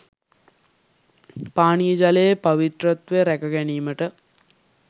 පානීය ජලයේ පවිත්‍රත්වය රැකගැනීමට